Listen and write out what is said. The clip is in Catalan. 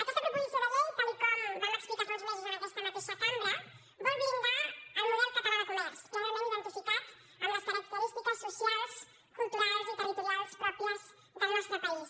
aquesta proposició de llei tal com vam explicar fa uns mesos en aquesta mateixa cambra vol blindar el model català de comerç plenament identificat amb les característiques socials culturals i territorials pròpies del nostre país